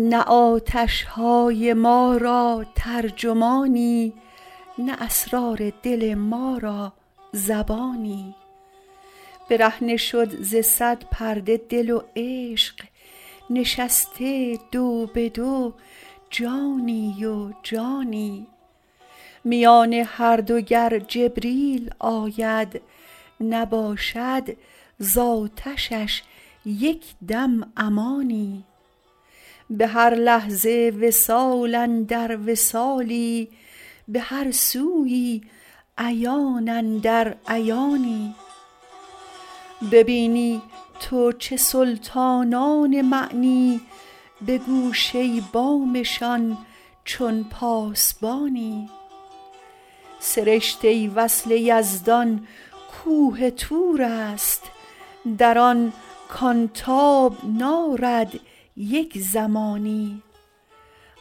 نه آتش های ما را ترجمانی نه اسرار دل ما را زبانی برهنه شد ز صد پرده دل و عشق نشسته دو به دو جانی و جانی میان هر دو گر جبریل آید نباشد ز آتشش یک دم امانی به هر لحظه وصال اندر وصالی به هر سویی عیان اندر عیانی ببینی تو چه سلطانان معنی به گوشه بامشان چون پاسبانی سرشته وصل یزدان کوه طور است در آن کان تاب نارد یک زمانی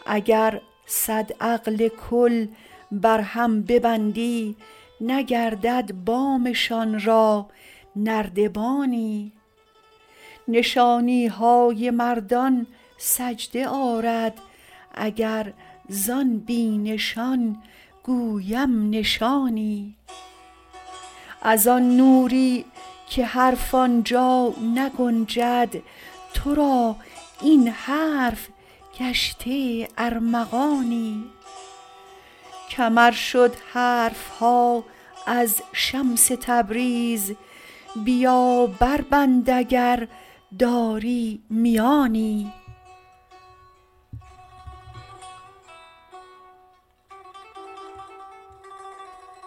اگر صد عقل کل بر هم ببندی نگردد بامشان را نردبانی نشانی های مردان سجده آرد اگر زان بی نشان گویم نشانی از آن نوری که حرف آن جا نگنجد تو را این حرف گشته ارمغانی کمر شد حرف ها از شمس تبریز بیا بربند اگر داری میانی